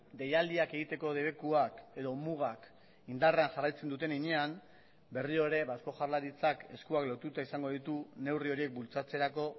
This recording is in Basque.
deialdiak egiteko debekuak edo mugak indarrean jarraitzen duten heinean berriro ere eusko jaurlaritzak eskuak lotuta izango ditu neurri horiek bultzatzerako